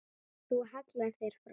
Þú hallar þér fram.